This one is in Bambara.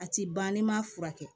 A ti ban n'i ma furakɛ